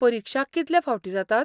परिक्षा कितलें फावटीं जातात?